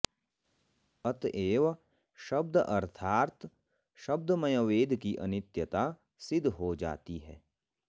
अतएव शब्द अर्थात् शब्दमय वेद की अनित्यता सिद्ध हो जाती है